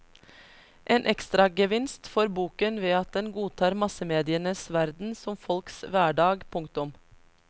En ekstragevinst får boken ved at den godtar massemedienes verden som folks hverdag. punktum